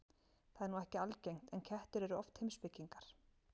Það er nú ekki algengt, en kettir eru oft heimspekingar.